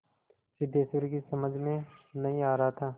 सिद्धेश्वरी की समझ में नहीं आ रहा था